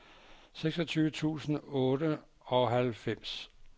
seksogtyve tusind og otteoghalvfems